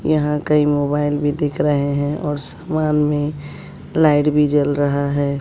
यहां कई मोबाइल भी दिख रहे हैं और समान में लाइट भी जल रहा है।